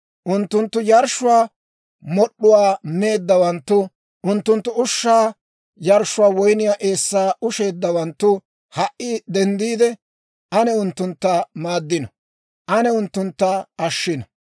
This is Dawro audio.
Unttunttu yarshshuwaa mod'd'uwaa meeddawanttu, unttunttu ushshaa yarshshuwaa woyniyaa eessaa usheeddawanttu ha"i denddiide, ane unttuntta maaddino; ane unttuntta ashshino.